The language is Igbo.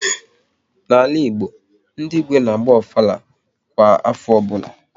N'ala Igbo, ndị Igwe n'agba Ofala kwa afọ ọbụla